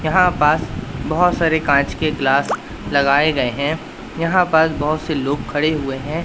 यहां पास बहोत सारे कांच के ग्लास लगाएं गए हैं यहां पास बहोत से लोग खड़े हुए हैं।